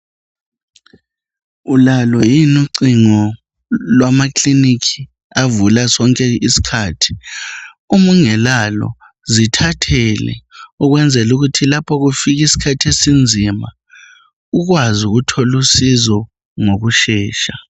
Ulalo yini ucingo lwama kilinika avula sonke iskhathi. Umungelalo zithathele ukwenzela ukuthi lapho kufika iskhathi esinzima ukwazi ukuthol' usizo ngokushesha.